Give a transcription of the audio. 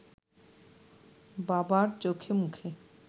বাবার চোখেমুখে